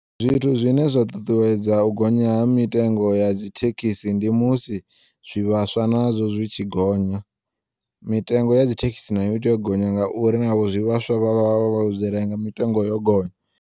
Zwithu zwine zwa ṱuṱuwedza u gonya ha mitengo ya dzithekisi ndi musi zwivhaswa nazwo zwitshi gonya, mitengo ya dzithekisi nayo itea u gonya ngauri navho zwivhaswa vha vha vho zwirenga mitengo yo gonya.